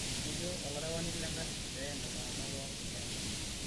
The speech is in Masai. etejo olerawani lengarri peen iltumgana pooki nkeenta